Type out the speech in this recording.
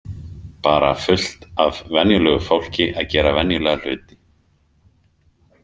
Bara fullt af venjulegu fólki að gera venjulega hluti.